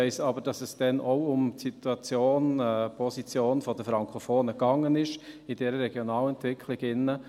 Ich weiss aber, dass es damals auch um die Situation, die Position der Frankophonen ging in dieser Regionalentwicklung.